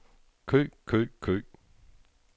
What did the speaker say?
kø kø kø